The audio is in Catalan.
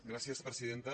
gràcies presidenta